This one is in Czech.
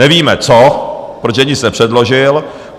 Nevíme co, protože nic nepředložil.